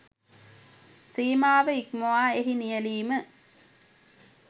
සීමාව ඉක්මවා එහි නියැළීම